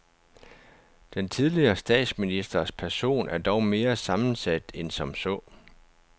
Den tidligere statsministers person er dog mere sammensat end som så.